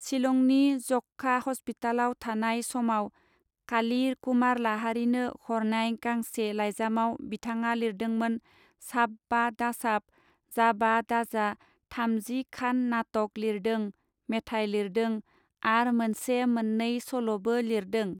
सिलंनि जखखा हस्पिटालाव थानाय समाव काली कुमार लाहारीनो हरनाय गांसे लाइजामआव बिथाडा लिरदोंमोन साब बा दासाब, जाबा दाजा थामजि खान नाटक लिरदों, मेथाय लिरदों, आर मोनसे मोननै सल बो लिरदों।